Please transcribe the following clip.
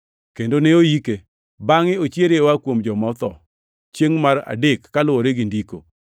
kendo ne oike, bangʼe ochiere oa kuom joma otho chiengʼ mar adek kaluwore gi Ndiko,